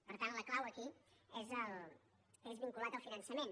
per tant la clau aquí és vinculat al finançament